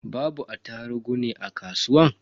Babu attarugu ne a kasuwa?